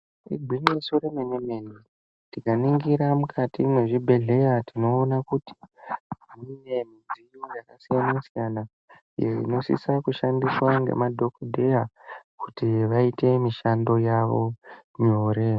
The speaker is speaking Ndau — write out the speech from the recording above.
Igwinyiso remene mene. Tikaningira mukati mwezvibhehleya tinoona kuti mune midziyo yakasiyana siyana iyo inosisa kushandiswa ngemadhokodheya kuti vaite mishandonyavo nyore.